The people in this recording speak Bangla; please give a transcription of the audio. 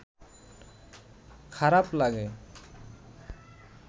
খারাপ লাগে